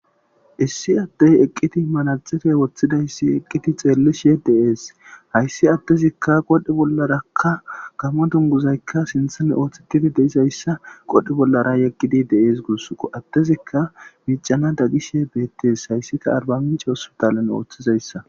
Issi addey eqqidi manaxire woththidayssi aqqidi xeellishe de'eshayssi addezikka qoodhe bollaraka Gaammo dunguzaykka sinththezan oothetidi de'izayssa qoodhe bollara yegidi de'es guusiko addezikka miiccanada gishe beettees hayssikka arbamince hospiatalen oothizayssa.